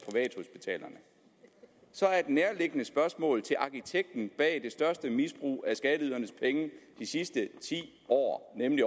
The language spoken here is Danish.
så er et nærliggende spørgsmål til arkitekten bag det største misbrug af skatteydernes penge de sidste ti år nemlig